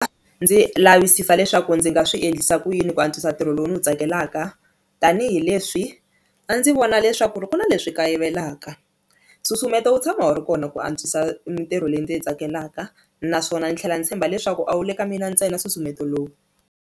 Ndzi lavisisa leswaku ndzi nga swi endlisa ku yini ku antswisa ntirho lowu ndzi wu tsakelaka tanihileswi a ndzi vona leswaku ri ku na leswi kayivelaka, nsusumeto wu tshama wu ri kona ku antswisa mintirho leyi ndzi yi tsakelaka naswona ndzi tlhela ndzi tshemba leswaku a wu le ka mina ntsena nsusumeto lowu.